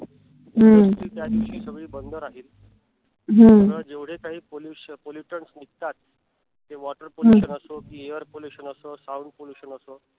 ही सगळी बंद राहील. जेवढे काही pollutions निघतात. ते water pollution असो कि air pollution असो sound pollution असो